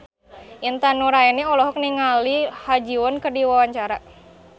Intan Nuraini olohok ningali Ha Ji Won keur diwawancara